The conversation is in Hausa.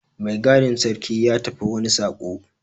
Mai gadin sarki ya tafi wani saƙo.